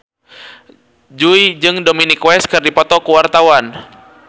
Jui jeung Dominic West keur dipoto ku wartawan